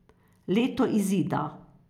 Leto izida.